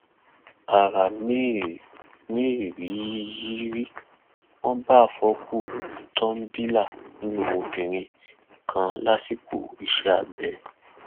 ara mérìíyì rí wọn bá àfọkù tọḿbìlà nínú obìnrin kan lásìkò iṣẹ abẹ